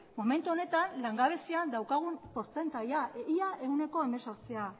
momentu honetan langabezian daukagun portzentaia ia ehuneko hemezortzia